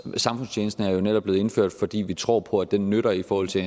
samfundstjeneste er jo netop blevet indført fordi vi tror på at det nytter i forhold til